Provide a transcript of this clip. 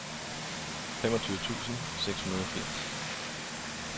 femogtyve tusind seks hundrede og firs